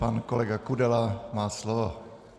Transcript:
Pan kolega Kudela má slovo.